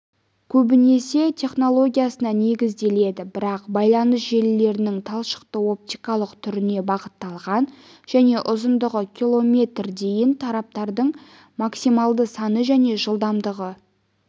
көбінесе технологиясына негізделеді бірақ байланыс желілерінің талшықтық-оптикалық түріне бағытталған және ұзындығы километр дейін тораптардың максималды саны және жылдамдығы